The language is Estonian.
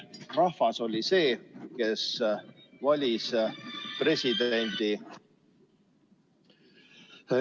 Rahvas oli see, kes valis presidendi.